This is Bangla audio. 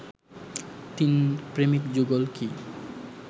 তিন প্রেমিক যুগল কি